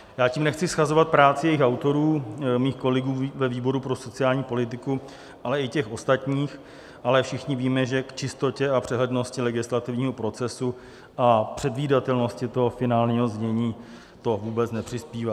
Já tím nechci shazovat práci jejich autorů, mých kolegů ve výboru pro sociální politiku, ale i těch ostatních, ale všichni víme, že k čistotě a přehlednosti legislativního procesu a předvídatelnosti toho finálního znění to vůbec nepřispívá.